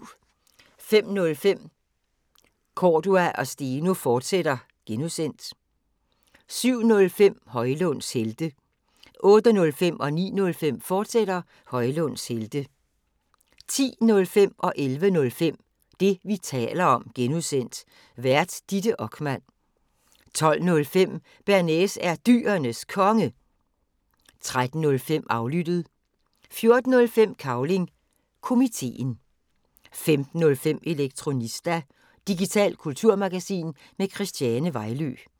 05:05: Cordua & Steno, fortsat (G) 07:05: Højlunds Helte 08:05: Højlunds Helte, fortsat 09:05: Højlunds Helte, fortsat 10:05: Det, vi taler om (G) Vært: Ditte Okman 11:05: Det, vi taler om (G) Vært: Ditte Okman 12:05: Bearnaise er Dyrenes Konge 13:05: Aflyttet 14:05: Cavling Komiteen 15:05: Elektronista – digitalt kulturmagasin med Christiane Vejlø